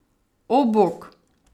O, bog!